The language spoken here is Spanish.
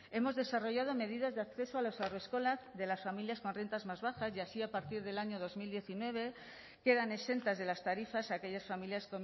hemos desarrollado medidas de acceso a las haurreskolak de las familias con rentas más bajas y así a partir del año dos mil diecinueve quedan exentas de las tarifas aquellas familias